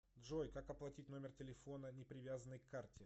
джой как оплатить номер телефона не привязанный к карте